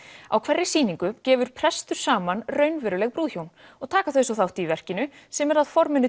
á hverri sýningu gefur prestur saman raunveruleg brúðhjón og taka þau svo þátt í verkinu sem er að forminu